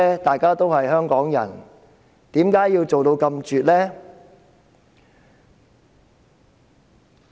大家都是香港人，為甚麼要做得這麼絕呢？